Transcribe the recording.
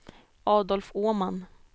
Adolf Åman